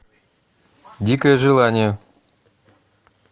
дикое желание